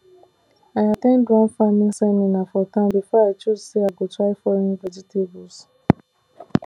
i at ten d one farming seminar for town before i choose say i go try foreign vegetables